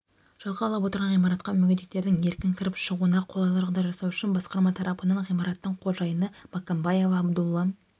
жалға алып отырған ғимаратқа мүгедектердің еркін кіріп шығуына қолайлы жағдай жасау үшін басқарма тарапынан ғимараттың қожайыны маккамбаева абдулла